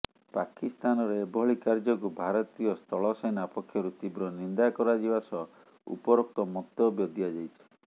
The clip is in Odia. ପାକିସ୍ତାନର ଏଭଳି କାର୍ଯ୍ୟକୁ ଭାରତୀୟ ସ୍ଥଳସେନା ପକ୍ଷରୁ ତୀବ୍ର ନିନ୍ଦା କରାଯିବା ସହ ଉପରୋକ୍ତ ମନ୍ତବ୍ୟ ଦିଆଯାଇଛି